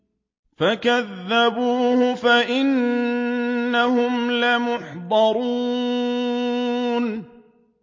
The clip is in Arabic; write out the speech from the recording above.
فَكَذَّبُوهُ فَإِنَّهُمْ لَمُحْضَرُونَ